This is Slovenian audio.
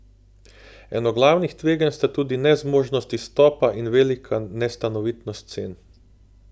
Eno glavnih tveganj sta tudi nezmožnost izstopa in velika nestanovitnost cen.